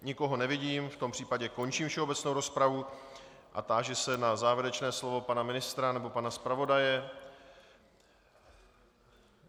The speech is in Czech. Nikoho nevidím, v tom případě končím všeobecnou rozpravu a táži se na závěrečné slovo pana ministra nebo pana zpravodaje.